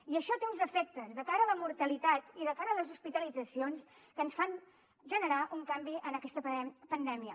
i això té uns efectes de cara a la mortalitat i de cara a les hospitalitzacions que ens fan generar un canvi en aquesta pandèmia